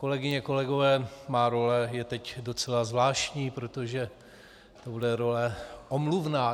Kolegyně, kolegové, má role je teď docela zvláštní, protože to bude role omluvná.